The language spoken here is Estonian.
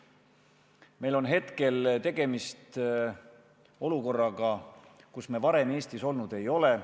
Hetkel on meil tegemist olukorraga, milles me varem Eestis olnud ei ole.